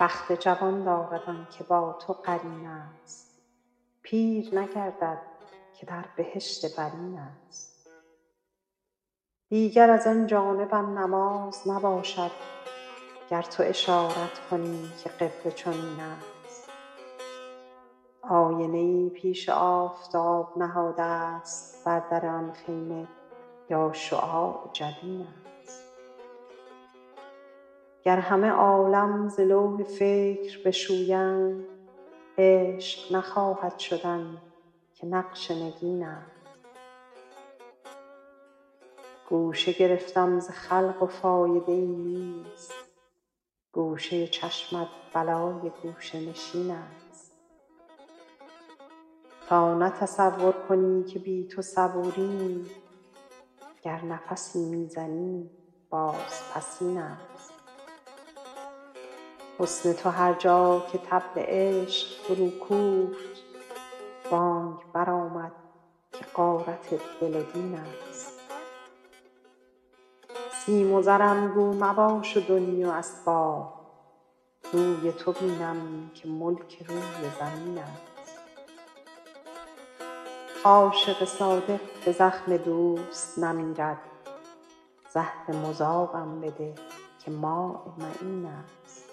بخت جوان دارد آن که با تو قرین است پیر نگردد که در بهشت برین است دیگر از آن جانبم نماز نباشد گر تو اشارت کنی که قبله چنین است آینه ای پیش آفتاب نهادست بر در آن خیمه یا شعاع جبین است گر همه عالم ز لوح فکر بشویند عشق نخواهد شدن که نقش نگین است گوشه گرفتم ز خلق و فایده ای نیست گوشه چشمت بلای گوشه نشین است تا نه تصور کنی که بی تو صبوریم گر نفسی می زنیم بازپسین است حسن تو هر جا که طبل عشق فروکوفت بانگ برآمد که غارت دل و دین است سیم و زرم گو مباش و دنیی و اسباب روی تو بینم که ملک روی زمین است عاشق صادق به زخم دوست نمیرد زهر مذابم بده که ماء معین است